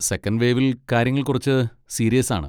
Second വേവിൽ കാര്യങ്ങൾ കുറച്ച് സീരിയസാണ്.